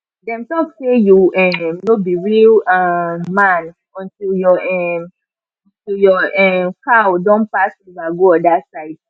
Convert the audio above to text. dem talk say you um no be real um man until your um until your um cow don pass river go other side